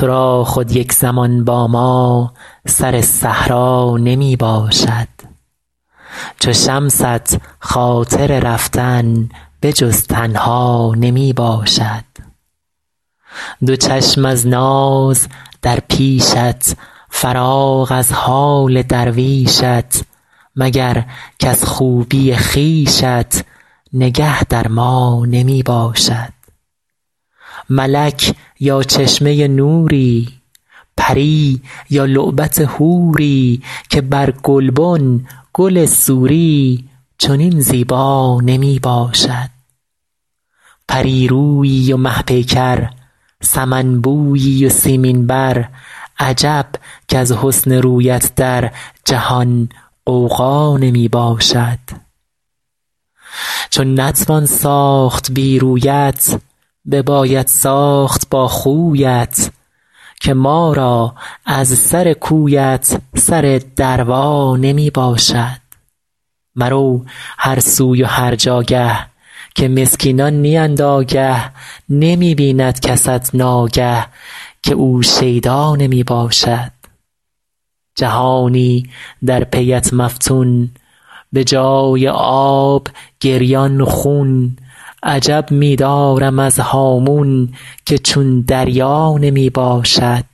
تو را خود یک زمان با ما سر صحرا نمی باشد چو شمست خاطر رفتن به جز تنها نمی باشد دو چشم از ناز در پیشت فراغ از حال درویشت مگر کز خوبی خویشت نگه در ما نمی باشد ملک یا چشمه نوری پری یا لعبت حوری که بر گلبن گل سوری چنین زیبا نمی باشد پری رویی و مه پیکر سمن بویی و سیمین بر عجب کز حسن رویت در جهان غوغا نمی باشد چو نتوان ساخت بی رویت بباید ساخت با خویت که ما را از سر کویت سر دروا نمی باشد مرو هر سوی و هر جاگه که مسکینان نیند آگه نمی بیند کست ناگه که او شیدا نمی باشد جهانی در پی ات مفتون به جای آب گریان خون عجب می دارم از هامون که چون دریا نمی باشد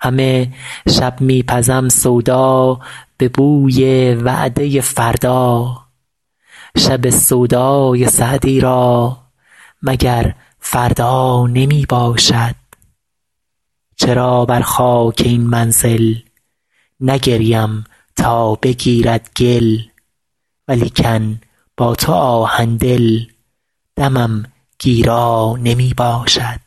همه شب می پزم سودا به بوی وعده فردا شب سودای سعدی را مگر فردا نمی باشد چرا بر خاک این منزل نگریم تا بگیرد گل ولیکن با تو آهن دل دمم گیرا نمی باشد